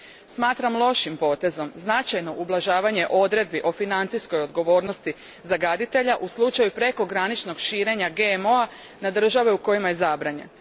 Smatram lošim potezom značajno ublažavanje odredbi o financijskoj odgovornosti zagađivača u slučaju prekograničnog širenja GMO a na države u kojima je zabranjen.